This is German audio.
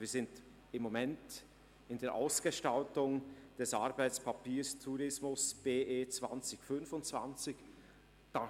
Wir arbeiten derzeit an der Ausgestaltung des Arbeitspapiers «Tourismus BE 2025».